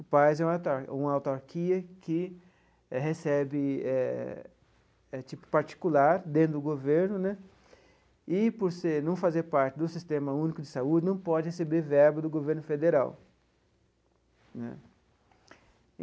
O PAS é uma autar uma autarquia que recebe eh é tipo particular dentro do governo né, e por ser não fazer parte do Sistema Único de Saúde não pode receber verba do governo federal né.